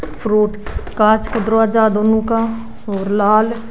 फुरुट कांच की दरवाजा दोनों का और लाल --